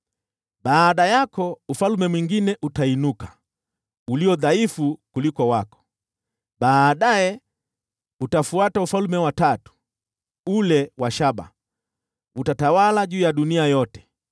“Baada yako, ufalme mwingine utainuka, ulio dhaifu kuliko wako. Baadaye utafuata ufalme wa tatu, ule wa shaba, nao utatawala juu ya dunia yote.